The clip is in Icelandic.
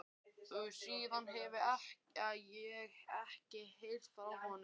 Síðan hefi ég ekkert heyrt frá honum.